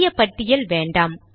பெரிய பட்டியல் வேண்டாம்